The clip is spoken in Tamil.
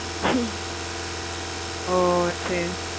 ஓஹ் சரி